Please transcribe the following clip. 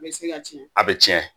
bɛ se ka tiɲɛ a bɛ tiɲɛ